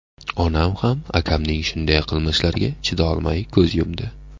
Onam ham akamning shunday qilmishlariga chidolmay ko‘z yumdi.